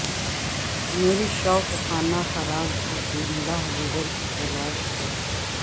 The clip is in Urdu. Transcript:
مرے شوق خانہ خراب کو تری رہ گزر کی تلاش ہے